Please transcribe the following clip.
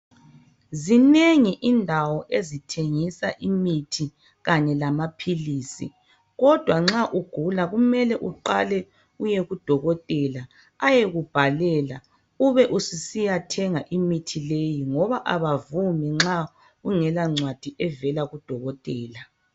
Zinengi indawo ezithengisa imithi kanye lamaphilizi kodwa nxa ugula kumele uqale uyekudokotela ayekubhalela ube ususiya thenga imithi leyi ngoba abavumi nxa ungela ncwadi evela kudokotela.